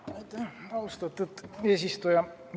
Aitäh, austatud eesistuja!